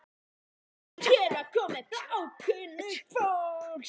En hér er komið bláókunnugt fólk.